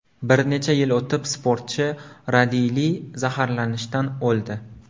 Bir necha yil o‘tib, sportchi radiyli zaharlanishdan o‘ldi.